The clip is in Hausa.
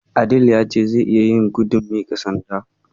Adeel ya ce zai iya yin gudun miƙa sanda.